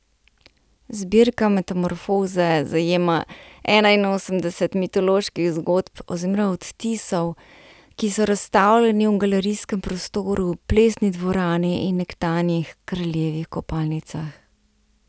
Zbirka Metamorfoze zajema enainosemdeset mitoloških zgodb oziroma odtisov, ki so razstavljeni v galerijskem prostoru, plesni dvorani in nekdanjih kraljevih kopalnicah.